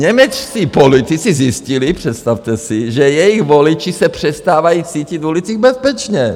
Němečtí politici zjistili - představte si! - že jejich voliči se přestávají cítit v ulicích bezpečně.